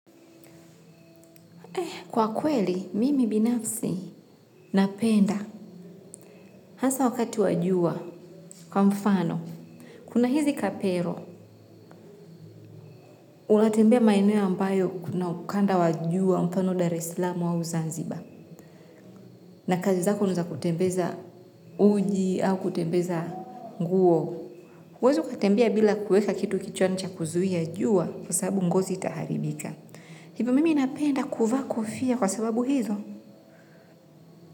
Eh, kwa kweli, mimi binafsi napenda hasa wakati wa jua kwa mfano. Kuna hizi kapero, una tembea maineo ambayo kuna ukanda wa jua mfano da reslamu au zanziba. Na kazi zako ni za kutembeza uji au kutembeza nguo. Huwezi katembea bila kuweka kitu kichwani cha kuzuia jua kwa sababu ngozi itaharibika. Hivu mimi napenda kuva kufia kwa sababu hizo.